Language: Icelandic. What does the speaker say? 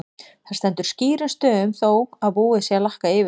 Það stendur skýrum stöfum þó að búið sé að lakka yfir það!